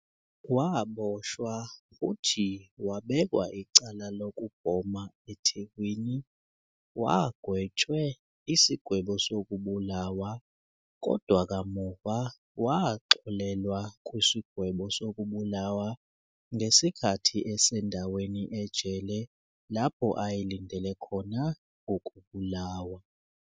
Waboshwa futhi wabekwa icala lokubhoma eThekwini, wagwetshwe isigwebo sokubulawa, kodwa kamuva waxolelwa kwisigwebo sokubulawa ngesikhathi esendaweni ejele lapho ayelindele khona ukubulawa.